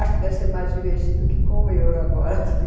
Acho que deve ser mais divertido que com o euro agora, tudo...